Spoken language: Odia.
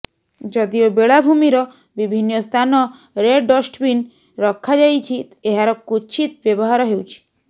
ଯଦିଓ ବେଳାଭୂମୀର ବିଭିନ୍ନ ସ୍ଥାନରେଡଷ୍ଟବିନ ରଖଯାଇଛି ଏହାର କ୍ୱଚିତ ବ୍ୟବହାର ହେଉଛି